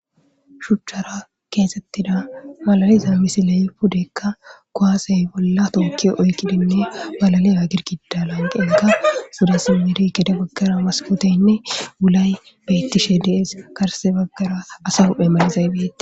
shuchchara keexettida malaliza misile pudeykka koaasey bolla tookki oykkidinne balalia girkida lanqenga sudasimiri kede baggara maskoteynne wulay beettishe dees karse baggara asa huphe malizaybeei